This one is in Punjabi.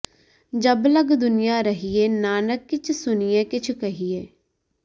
ਜਬ ਲਗਿ ਦੁਨੀਆ ਰਹੀਐ ਨਾਨਕ ਕਿਛੁ ਸੁਣੀਐ ਕਿਛੁ ਕਹੀਐ